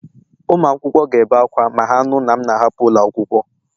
Ụmụ akwụkwọ ga-ebe akwa ma ha nụ na m na-ahapụ ụlọ akwụkwọ